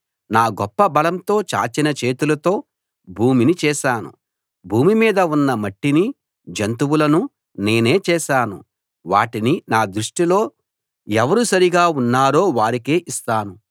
నా గొప్ప బలంతో చాచిన చేతితో భూమిని చేశాను భూమి మీద ఉన్న మట్టినీ జంతువులనూ నేనే చేశాను వాటిని నా దృష్టిలో ఎవరు సరిగా ఉన్నారో వారికే ఇస్తాను